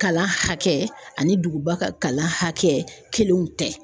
Kalan hakɛ ani duguba ka kalan hakɛ kelenw tɛ.